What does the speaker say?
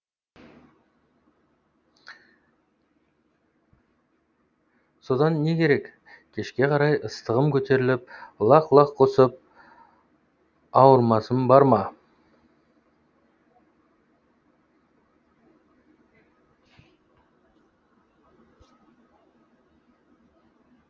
содан не керек кешке қарай ыстығым көтеріліп лақ лақ құсып ауырмасым бар ма